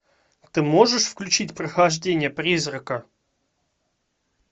ты можешь включить прохождение призрака